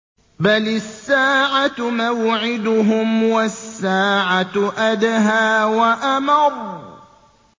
بَلِ السَّاعَةُ مَوْعِدُهُمْ وَالسَّاعَةُ أَدْهَىٰ وَأَمَرُّ